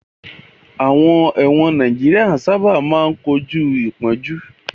Àwọn ẹ̀wọ̀n Nàìjíríà sáábà máa ń kojú àpọ̀jù